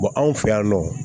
anw fɛ yan nɔ